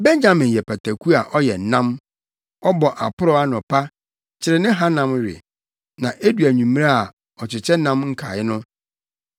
“Benyamin yɛ pataku a ɔyɛ nam; ɔbɔ aporɔw anɔpa, kyere ne hanam we, na edu anwummere a, ɔkyekyɛ nam nkae no.”